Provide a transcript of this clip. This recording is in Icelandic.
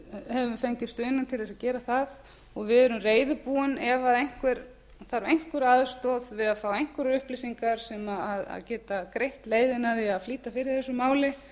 hefur fengið stuðning til að gera það og við erum reiðubúin ef einhver þarf einhverja aðstoð við að fá einhverjar upplýsingar sem geta greitt leiðina við að flýta fyrir þessu máli